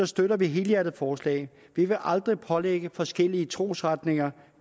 støtter vi helhjertet forslaget vi vil aldrig pålægge forskellige trosretninger